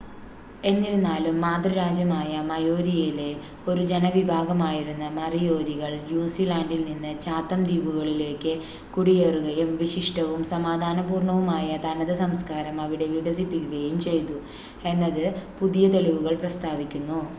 എന്നിരുന്നാലും, മാതൃരാജ്യമായ മയോരിയിലെ ഒരു ജനവിഭാഗമായിരുന്ന മറിയോരികൾ ന്യൂസിലൻഡിൽനിന്ന് ചാത്തം ദ്വീപുകളിലേക്ക് കുടിയേറുകയും വിശിഷ്ടവും സമാധാനപൂർണ്ണവുമായ തനത് സംസ്ക്കാരം അവിടെ വികസിപ്പിക്കുകയും ചെയ്തു എന്ന് പുതിയ തെളിവുകൾ പ്രസ്താവിക്കുന്നു